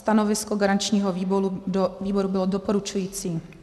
Stanovisko garančního výboru bylo doporučující.